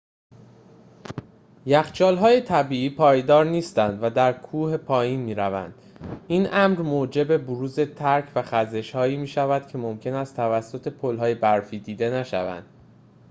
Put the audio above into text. یخچال‌های طبیعی پایدار نیستند و در کوه پایین می‌روند این امر موجب بروز ترک و خزش‌هایی می‌شود که ممکن است توسط پل‌های برفی دیده نشوند